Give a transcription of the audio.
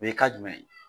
O ye ka jumɛn ye